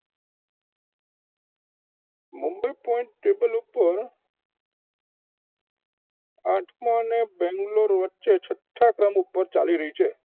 Number point table પર આઠમાં અને બેંગ્લોર વચ્ચે છઠ્ઠા ક્રમ ઉપર ચાલી રહી છે.